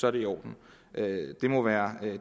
er det i orden det må være